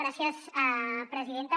gràcies presidenta